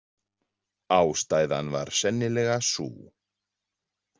Ástæðan var sennilega sú.